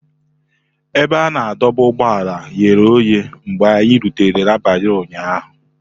Ebe a na-adọba ụgbọala ghere oghe mgbe anyị rutere n'abalị ụnyahụ.